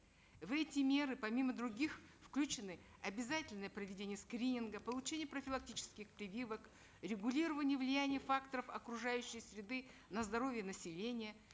в эти меры помимо других включены обязательное проведение скрининга получение профилактических прививок регулирование влияния факторов окружающей среды на здоровье населения